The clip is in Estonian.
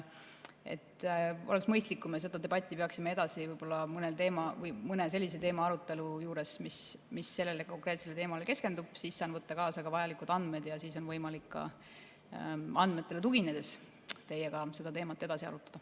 Oleks mõistlik, kui me seda debatti peaksime edasi võib-olla mõne sellise teema arutelu juures, mis sellele konkreetsele teemale keskendub, siis saan võtta kaasa ka vajalikud andmed ja siis on võimalik andmetele tuginedes teiega seda teemat edasi arutada.